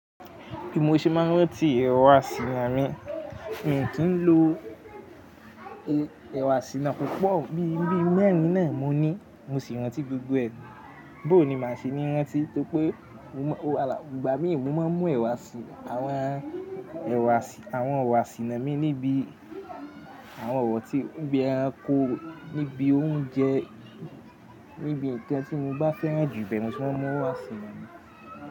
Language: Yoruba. Bi mo se n máa ń rántí ẹ̀ro asìná mi. Mi kì n lo e, ẹ̀ro asìná púpọ̀, bí i bíi mẹ́rin náà mo ní mo sì ń rántí gbogbo ẹ. Bó ni màá ṣe ní rántí tó pé mo mọ̀, ọ̀la, ìgbà mí ì mo máa ń mu ẹ̀wà sí, àwọn ẹ̀wà sì, àwọn ọ̀wọ̀ sìná mi níbí àwọn ọ̀ro tí, nibi eranko, níbi oúnjẹ, níbi nkan ti mo bá fẹ́ràn jù ibẹ́ẹ̀ mo ti máa mu oro asìná mi.